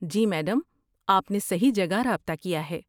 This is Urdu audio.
جی، میڈم! آپ نے صحیح جگہ رابطہ کیا ہے۔